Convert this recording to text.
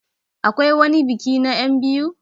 Akwai wani biki na enbiyu?